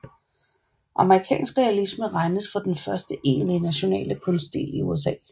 Amerikansk realisme regnes for den første egentlige nationale kunststil i USA